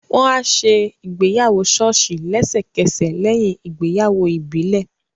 Wọ́n á ṣe ìgbéyàwó ṣọ́ọ̀ṣì lẹ́sẹ̀kẹsẹ̀ lẹ́yìn ìgbéyàwó ìbílẹ̀